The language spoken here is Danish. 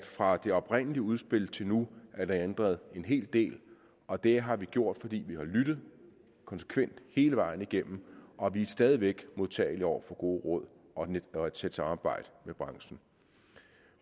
fra det oprindelige udspil til nu er ændret en hel del og det har vi gjort fordi vi har lyttet konsekvent hele vejen igennem og vi er stadig væk modtagelige over for gode råd og og et tæt samarbejde med branchen